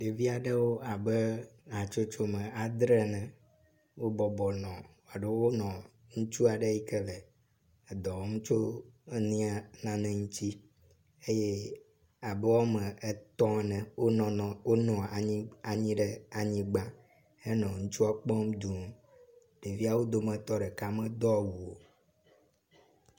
Ɖevia aɖewo abe hatsotsome adre ene wobɔbɔ nɔ alo wonɔ ŋutsu aɖe yi ke le dɔwɔmtso nena ŋu eye abe wome etɔ̃ ene wonɔ anyi ɖe anyigba henɔ nyɔnua kpom d{